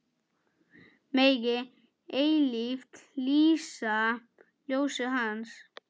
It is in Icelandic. Megi eilíft lýsa ljósið Hans.